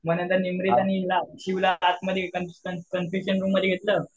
मग नंतर निमरीत आणि हिला शिवला आतमध्ये कन्फेशन रूममध्ये घेतलं